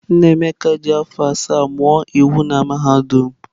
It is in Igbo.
Nnaemeka ji afọ asaa mụọ iwu na mahadum.